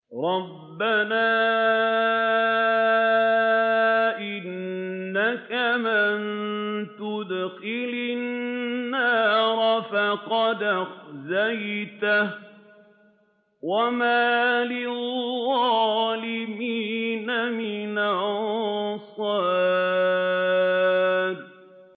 رَبَّنَا إِنَّكَ مَن تُدْخِلِ النَّارَ فَقَدْ أَخْزَيْتَهُ ۖ وَمَا لِلظَّالِمِينَ مِنْ أَنصَارٍ